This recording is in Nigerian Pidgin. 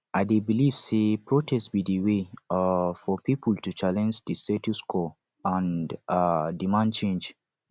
i dey believe say protest be di way um for people to challenge di status quo and um demand change